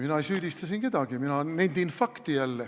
Mina ei süüdista siin kedagi, mina nendin jälle fakti.